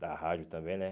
Da rádio também, né?